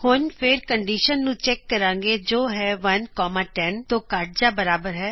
ਹੁਣ ਫੇਰ ਕੰਡੀਸ਼ਨ ਨੂੰ ਚੈੱਕ ਕਰਾਗੇ ਜੋ ਹੈ 1 10 ਤੋ ਘੱਟ ਜਾਂ ਬਰਾਬਰ ਹੈ